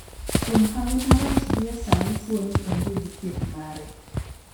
kuom hawi marach gi e sani tuo ni ong'e gi thieth mare.